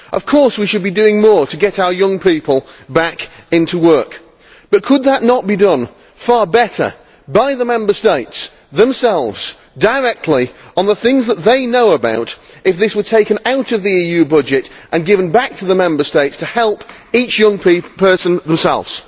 Of course we should be doing more to get our young people back into work, but could that not be done far better by the Member States themselves, directly on the things that they know about, if this were taken out of the EU budget and given back to the Member States to help young people themselves?